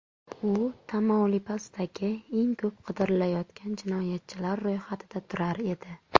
U Tamaulipasdagi eng ko‘p qidirilayotgan jinoyatchilar ro‘yxatida turar edi.